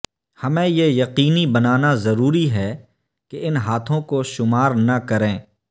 ہمیں یہ یقینی بنانا ضروری ہے کہ ان ہاتھوں کو شمار نہ کریں